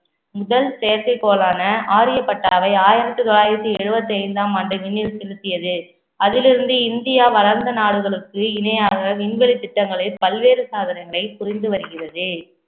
முதல் செயற்கைக்கோளான ஆரியப்பட்டாவை ஆயிரத்தி தொள்ளாயிரத்தி எழுபத்தி ஐந்தாம் ஆண்டு விண்ணில் செலுத்தியது அதிலிருந்து இந்தியா வளர்ந்த நாடுகளுக்கு இணையாக விண்வெளி திட்டங்களை பல்வேறு சாதனைகளை புரிந்து வருகிறது